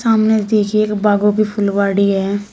सामने पीछे के बागों की फूलवारी है।